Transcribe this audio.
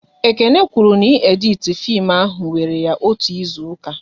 Ekene kwụrụ na ị editi fim ahụ wéré ya otú ịzụka